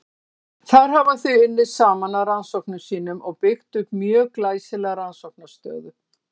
Þar hafa þau unnið saman að rannsóknum sínum og byggt upp mjög glæsilega rannsóknaraðstöðu.